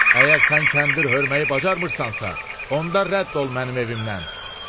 Əgər sən kəndir hörməyi bacarmırsansa, onda rədd ol mənim evimdən.